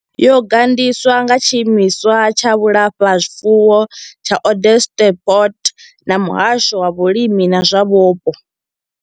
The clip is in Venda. Yo gandiswa nga tshiimiswa tsha vhulafhazwifuwo tsha Onderstepoort na muhasho wa vhulimi na zwa vhupo.